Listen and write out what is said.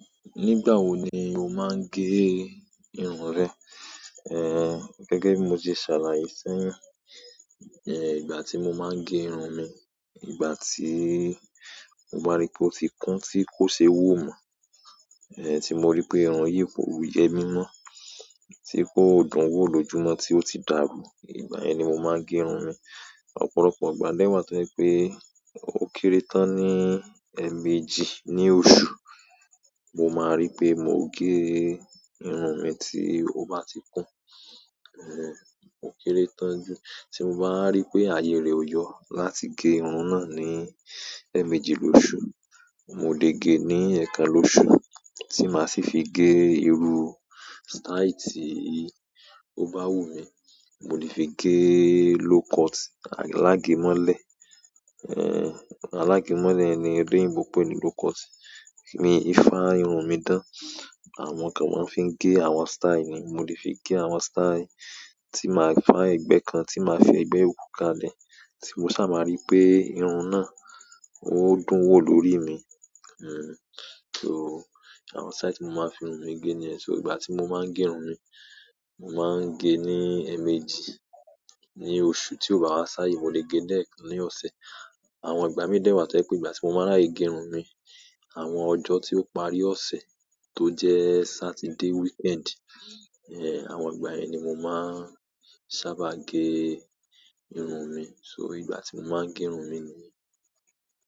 Nígbà wo ni o máa ń gẹ irun rẹ? Eh, gẹ́gẹ́ bí mo ti ṣàlàyé fún, eh, ìgbà tí mo máa ń e irun mi, ìgbà tí mo bá rí pé ó ti kùn tí kò ṣe wò mọ̀, eh, tí mo rí pé irun yìí kò yẹ mí mọ́, tí kò dún wò lójú mọ́ tí ó ti dàru, ìgbà yẹn ni mo máa ń gé irun mi. Ọ̀pọ̀lọpọ̀ ìgbà dẹ́wàá tó je pé ó kéré tán ní ẹ̀ẹ̀mejì ní ọ̀su, mo máa rí pé mo gé irun mi tí ó bá ti kùn, eh, ó kéré tán jù. Tí mo bá wa rí pé àyè rẹ̀ ọ yo láti gé irun náà ní ẹ̀ẹ̀mejì lóṣù, mo lè gé ní ẹ̀ẹ̀kan lóṣù. Tí màá sì fi gé iru stáì tí ó bá wù mí, mo le fi gé low cut alágẹ̀mọ́lẹ̀, eh, alágẹ̀mọ́lẹ̀ yen ni oloyinbo peni low cut, mi i fá irun mi dán. Àwọn kan máa ń fi gé àwọn sítáì ni, mo lè fi gé àwọn sítáì tí màá fá ẹ̀gbẹ́ kan, tí màá fẹ ẹ̀gbẹ́ yòkú ká lẹ̀, tí mo sá máa rí pé irun náà ó dún wò lórí mi. Àwọn sitai ti mo ma n fi irun mi ge niyen, so ìgbà ti mo ma n ge irun mi, mo ma n ge ni emeji ni oṣù ti o ba wa saye mo le ge lekan lọ́sẹ̀. Àwọn ìgbà mìíràn dẹ́wàá tí ó pé ìgbà tí mo máa rà ẹ gé irun mi, àwọn ọjọ́ tí ó parí ọ̀sẹ̀ tó jẹ́ Sátidé, wíkẹ́ẹ̀ndì, eh, àwọn ìgbà yẹn ni mo máa ń sábà gé irun mi. So ìgbà tí mo máa ń gé irun mi ni.